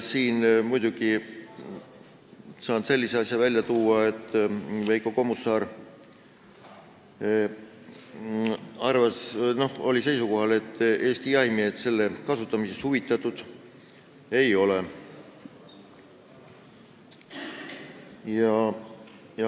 Siin saan välja tuua Veiko Kommusaare seisukoha, et Eesti jahimehed lasersihiku kasutamisest huvitatud ei ole.